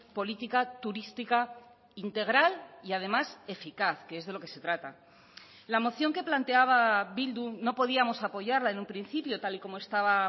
política turística integral y además eficaz que es de lo que se trata la moción que planteaba bildu no podíamos apoyarla en un principio tal y como estaba